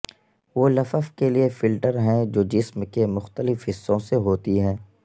وہ لفف کے لئے فلٹر ہیں جو جسم کے مختلف حصوں سے ہوتی ہیں